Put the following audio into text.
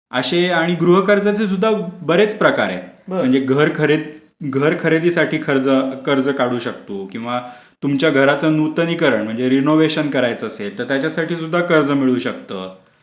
असे आणि गृह कर्ज सुद्धा बरेच प्रकार आहेत म्हणजे घराकरिता घर खरेदीसाठी कर्ज काढू शकतो किंवा तुमच्या घराचा नूतनीकरण म्हणजे रेनोवेशन करायचं असेल तर त्याच्यासाठी सुद्धा कर्ज मिळू शकतो.